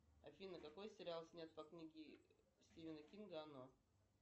афина какой сериал снят по книге стивена кинга оно